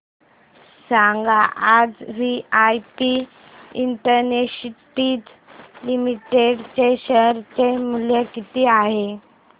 सांगा आज VIP industries limited चे शेअर चे मूल्य किती आहे